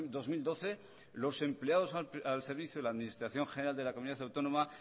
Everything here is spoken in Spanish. dos mil doce los empleados al servicio de la administración general de la comunidad autónoma